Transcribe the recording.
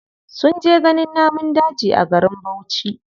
Sun je ganin namun daji a garin bauchi.